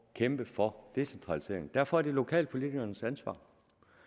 kæmpe for decentralisering og derfor er det lokalpolitikernes ansvar